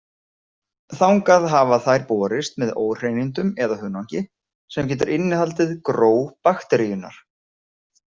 Þangað hafa þær borist með óhreinindum eða hunangi, sem getur innihaldið gró bakteríunnar.